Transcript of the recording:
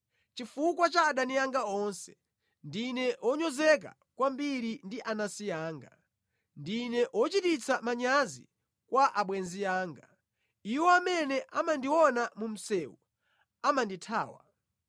Chifukwa cha adani anga onse, ndine wonyozeka kwambiri ndi anansi anga; ndine chochititsa manyazi kwa abwenzi anga. Iwo amene amandiona mu msewu amandithawa.